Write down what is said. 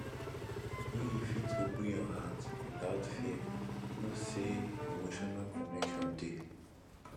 wen you fit open your heart witout fear know sey emotional connection dey